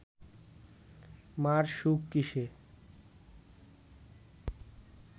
মা’র সুখ কিসে